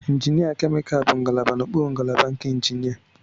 Injinia Chemical bụ ngalaba n'okpuru ngalaba nke injinia.